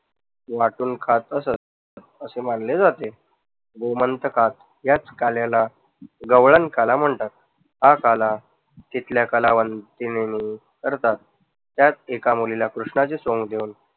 वाटून खात असत. असे मानले जाते. याच काल्याला गवळण काला म्हणतात. हा काला तिथल्या कलावंतीनी करतात. त्यात एका मुलीला कृष्णाचे सोंग घेऊन